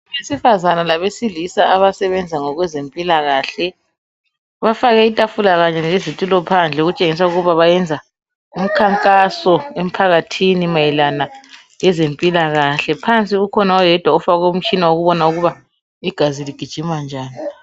Abesifazane labesilisa abasebenza ngokwezempilakahle bafake itafula kanye lezitulo phandle okutshengisa ukuba bayenza umkhankaso emphakathini mayelana lezempilakahle. Phansi kukhona oyedwa ofake umtshina wokubona ukuba igazi ligijima njani.